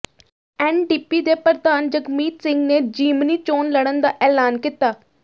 NDP ਦੇ ਪ੍ਰਧਾਨ ਜਗਮੀਤ ਸਿੰਘ ਨੇ ਜ਼ਿਮਨੀ ਚੋਣ ਲੜਨ ਦਾ ਐਲਾਨ ਕੀਤਾ